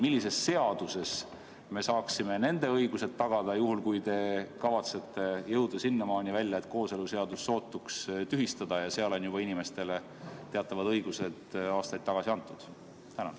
Millises seaduses me saaksime nende õigused tagada, juhul kui te kavatsete jõuda sinnamaani välja, et kooseluseadus sootuks tühistada, kuigi seal on juba inimestele teatavad õigused aastaid tagasi antud?